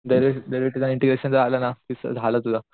derivative integration जर आलं ना झालं तुझं